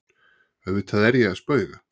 Auðvitað er ég að spauga.